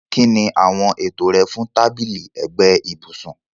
Kín ni àwọn ètò rẹ fún tábìlì ẹ̀gbẹ́ ibùsùn?